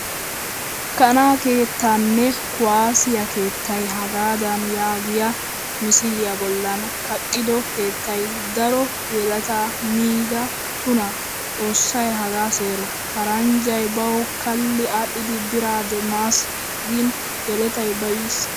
Kana keettane kuwasiyaa keettay hagadan yaagiyaa misiliyaa bollan kaqqido keettay daro yeleta miida tuna. Xoossay hagaa seero. Paranjjay bawu kali adhdhidi bira demmasa gn yelettay bayiis.